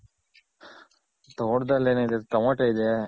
ತೋಟದಲ್ ಏನಿದೆ? ಟಮೊಟ ಇದೆ.